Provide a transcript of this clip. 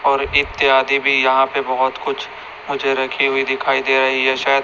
और इत्यादि भी यहाँ पे बहोत कुछ मुझे रखें हुए दिखाई दे रहीं हैं शायद--